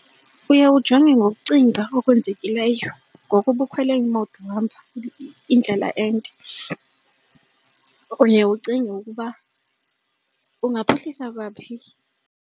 Uye ujonge ngokucinga okwenzekileyo ngoko ubukhwele imoto uhamba indlela ende uye ucinge ukuba engaphuhlisa kwaphi.